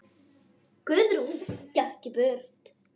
Guðrún gekk burt.